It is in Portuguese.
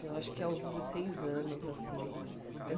Eu acho que aos dezesseis anos, assim.